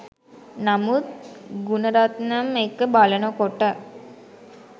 නමුත් ගුනරත්නම් එක්ක බලන කොට